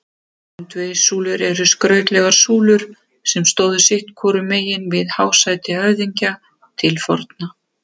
Öndvegissúlur eru skrautlegar súlur sem stóðu sitt hvorum megin við hásæti höfðingja til forna.